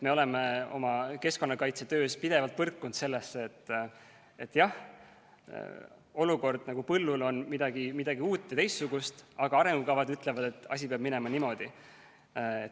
Me oleme oma keskkonnakaitsetöös pidevalt põrkunud sellega, et jah, olukord põllul on midagi uut ja teistsugust, aga arengukavad ütlevad, et asi peab minema niimoodi.